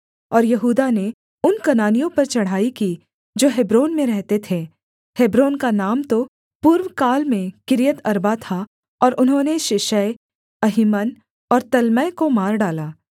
और यहूदा ने उन कनानियों पर चढ़ाई की जो हेब्रोन में रहते थे हेब्रोन का नाम तो पूर्वकाल में किर्यतअर्बा था और उन्होंने शेशै अहीमन और तल्मै को मार डाला